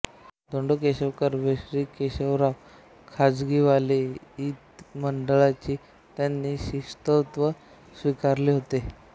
धोंडो केशव कर्वे श्री केशवराव खाजगीवाले इ मंडळींनी त्यांचे शिष्यत्व स्वीकारले होते